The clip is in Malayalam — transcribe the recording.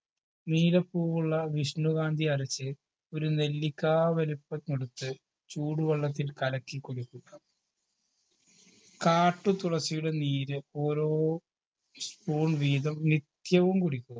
നീലപ്പൂവുള്ള വിഷ്ണുകാന്തി അരച്ച് ഒരു നെല്ലിക്കാ വലുപ്പമെടുത്ത് ചൂടുവെള്ളത്തിൽ കലക്കി കുടിപ്പിക്കുക കാട്ടുതുളസിയുടെ നീര് ഓരോ spoon വീതം നിത്യവും കുടിക്കുക